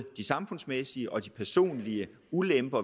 de samfundsmæssige og de personlige ulemper